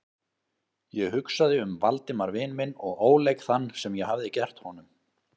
Ég hugsaði um Valdimar vin minn og óleik þann, sem ég hafði gert honum.